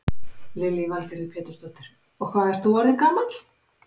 Lillý Valgerður Pétursdóttir: Og hvað ert þú orðinn gamall?